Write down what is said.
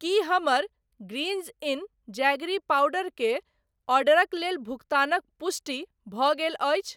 की हमर greens in jaggery powder के ऑर्डरक लेल भुगतानक पुष्टि भऽ गेल अछि?